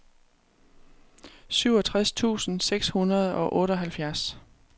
syvogtres tusind seks hundrede og otteoghalvfjerds